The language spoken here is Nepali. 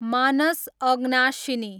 मानस आगनाशिनी